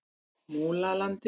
Múlalandi